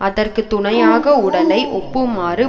அதற்க்கு துணையாக உடலை ஒப்புமாறு